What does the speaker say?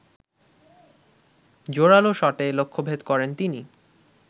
জোরালো শটে লক্ষ্যভেদ করেন তিনি